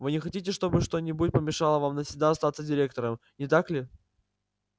вы не хотите чтобы что-нибудь помешало вам навсегда остаться директором не так ли